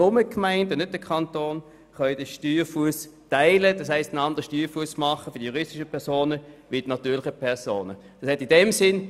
Die Gemeinden könnten für ihre Steuer also unterschiedliche Steuerfüsse für juristische und natürliche Personen festlegen.